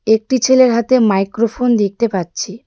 একটি ছেলের হাতে মাইক্রোফোন দেখতে পাচ্ছি.